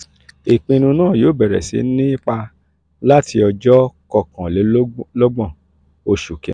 ipinnu naa yoo bẹrẹ si ni ipa lati ọjọ kọkanlelogbon oṣù kinni.